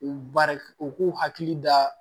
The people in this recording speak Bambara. U baara u k'u hakili da